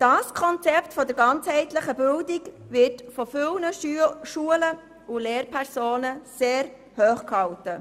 Dieses Konzept der ganzheitlichen Bildung wird von zahlreichen Schulen und Lehrpersonen sehr hochgehalten.